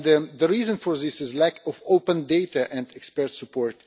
The reason for this is lack of open data and expert support.